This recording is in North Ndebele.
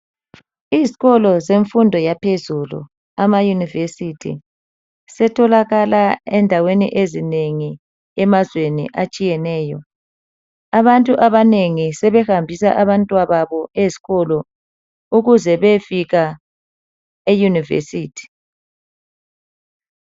Izikolo zemfundo yaphezulu amayunivesithi setholakala endaweni ezinengi emazweni atshiyeneyo abantu abanengi sebehambisa abantwababo ezikolo ukuze befika eyunivesithi.